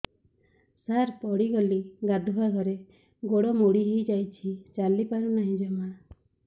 ସାର ପଡ଼ିଗଲି ଗାଧୁଆଘରେ ଗୋଡ ମୋଡି ହେଇଯାଇଛି ଚାଲିପାରୁ ନାହିଁ ଜମା